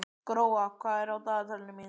Gróa, hvað er á dagatalinu mínu í dag?